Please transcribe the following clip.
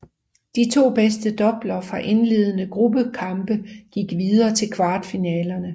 De to bedste doubler fra de indledende gruppekampe gik videre til kvartfinalerne